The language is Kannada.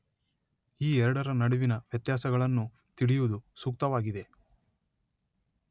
ಈ ಎರಡರ ನಡುವಿನ ವ್ಯತ್ಯಾಸಗಳನ್ನು ತಿಳಿಯುವುದು ಸೂಕ್ತವಾಗಿದೆ.